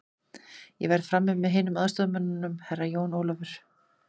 Ég verð frammi með hinum aðstoðarmönnunum, Herra Jón Ólafur.